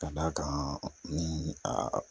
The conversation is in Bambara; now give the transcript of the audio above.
Ka d'a kan ni a